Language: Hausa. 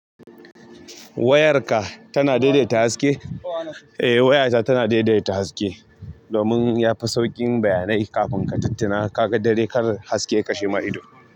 Wayarka tana daidaita haske. Eh wayata tana daidaita haske domin yafi sauƙin bayanai kafin katuttuna kaga dare kar haske yakashema ido.